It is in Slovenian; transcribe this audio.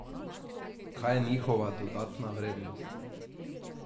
Kaj je njihova dodana vrednost?